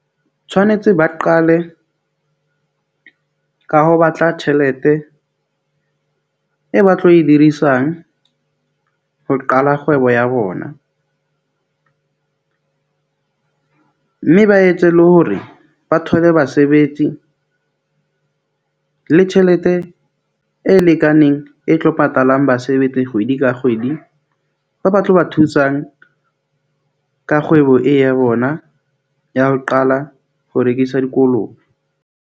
Tshwanetse ba qale ka ho batla tjhelete e ba tlo e dirisang ho qala kgwebo ya bona . Mme ba etse le hore ba thole basebetsi le tjhelete e lekaneng e tlo patalang basebetsi kgwedi ka kgwedi. Ba ba tlo ba thusang ka kgwebo e ya bona ya ho qala ho rekisa dikolobe.